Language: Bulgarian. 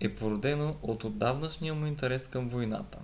е породено от отдавнашния му интерес към войната